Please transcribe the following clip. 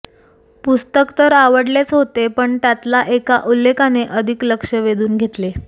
पुस्तक तर आवडलेच होते पण त्यातल्या एका उल्लेखाने अधिक लक्ष्य वेधून घेतले